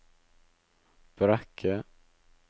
Brekke